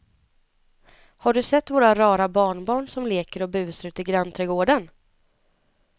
Har du sett våra rara barnbarn som leker och busar ute i grannträdgården!